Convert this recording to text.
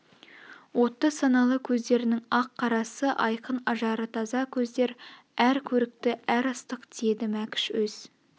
отты саналы көздернің ақ қарасы айқын ажары таза көздер әр көрікті әр ыстық тиеді мәкш өз